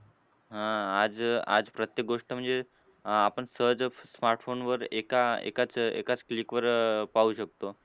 हां. आज आज प्रत्येक गोष्ट म्हणजे आपण सहज smartphone वर एका एकाच एकाच click वर पाहू शकतो.